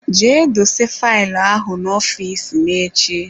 Jee dose faịlụ ahụ n'ọfịs me echi.